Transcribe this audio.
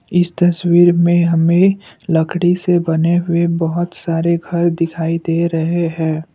इस तस्वीर में हमें लकड़ी से बने हुए बहुत सारे घर दिखाई दे रहे हैं।